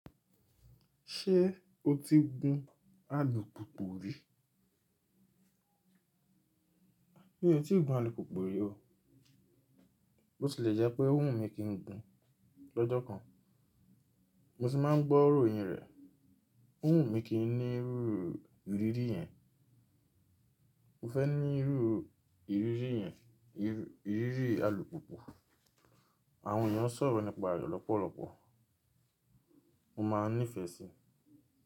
Ṣé o ti gun alùpùpù rí? Mi ò tíì gun alùpùpù rí o. Botilẹ̀ jẹ́ pé n ò wù mí kí n gun lọ́jọ́ kan. Mo sì máa ń gbọ́ iró yin rẹ, n ò wù mí kí n ní irú ìrírí yẹn. Mo fẹ́ ní irú ìrírí yẹn, ìrírí alùpùpù. Àwọn ènìyàn ń sọ̀rọ̀ nípa rẹ̀ lọ́pọ̀lọpọ̀. Mo máa nífẹ̀ẹ́ sí i.